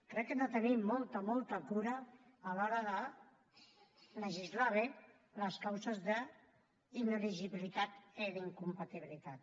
crec que hem de tenir molta molta cura a l’hora de legislar bé les causes d’inelegibilitat i d’incompatibilitat